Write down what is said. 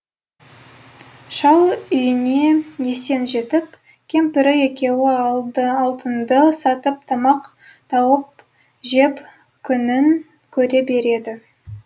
шал үйіне есен жетіп кемпірі екеуі алтынды сатып тамақ тауып жеп күнін көре береді